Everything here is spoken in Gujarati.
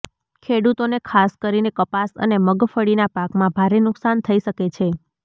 ખેડૂતોને ખાસ કરીને કપાસ અને મગફળીના પાકમાં ભારે નુકસાન થઈ શકે છે